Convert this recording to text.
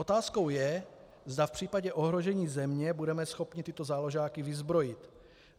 Otázkou je, zda v případě ohrožení země budeme schopni tyto záložáky vyzbrojit.